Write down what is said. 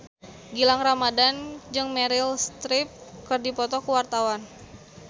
Gilang Ramadan jeung Meryl Streep keur dipoto ku wartawan